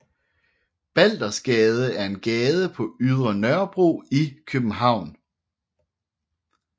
Baldersgade er en gade på Ydre Nørrebro i København